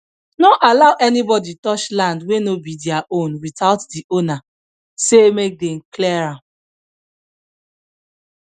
no allow anybody touch land wey no be their own without the owner say make dem clear am